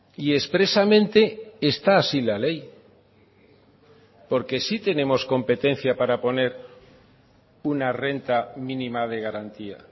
y expresamente está así la ley porque sí tenemos competencia para poner una renta mínima de garantía